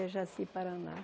É Jaci Paraná.